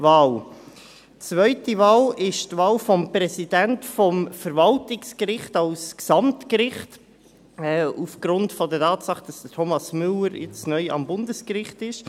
Die zweite Wahl ist die Wahl des Präsidenten des Verwaltungsgerichts als Gesamtgericht aufgrund der Tatsache, dass Thomas Müller jetzt neu am Bundesgericht ist.